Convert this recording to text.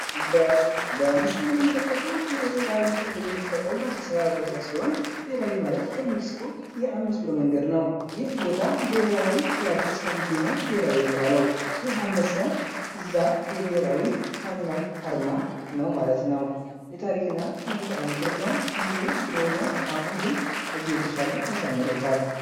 በምስሉ የምንመለከተዉ ብሔራዉ ተብሎ የሚጠራዉ አዲስ አበባ ቦታ ሲሆን ብሔራዊ ማለት ከሜክሲኮ የ5 ብር መንገድ ነዉ። ይህ ቦታ የብሔራዊ ቲያትር ስለሚገኝ ነዉ ብሔራዊ የተባለዉ። ይህ አንበሳ እዚያ ዋና አርማ ነዉ ማለት ነዉ። ይህ ድሮ የሚገኘዉ ነዉ። አሁን ግን ከዚያ የተሻለ አሳምረዉታል።